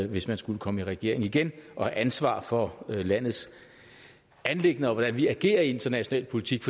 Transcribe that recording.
hvis man skulle komme i regering igen og have ansvar for landets anliggender og for hvordan vi agerer i international politik